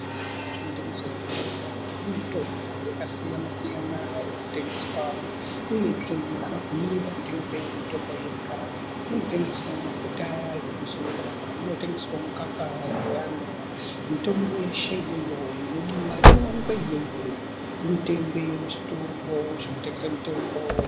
Muzvitoro zvinotengesa mitombo ,munemitombo yakasiyana siyana inotengeswa uyezve havabvumirweba kutengesa mitombo yega, munotengeswe mafuta ekuzora ,munotengeswa mikaka dzevana ,mitombo yeshe inodiwa inowanikwe iyoyo, inotengwe muzvitoro zvinotengeswe mitombo .